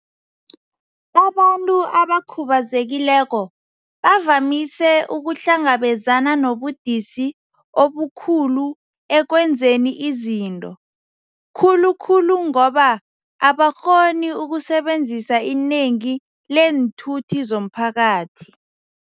Abantu abakhubazekileko bavamise ukuhlangabezana nobudisi obukhulu ekwenzeni izinto, khulu khulu ngoba abakghoni ukusebenzisa inengi leenthuthi zomphakathi.